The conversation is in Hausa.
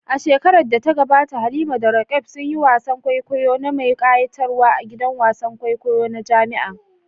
A shekarar da ta gabata Halima da Roqeeb sun yi wasan kwaikwayo mai kayatarwa a gidan wasan kwaikwayo na jami'a.